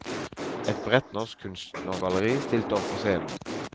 Et bredt norsk kunstnergalleri stilte opp på scenen.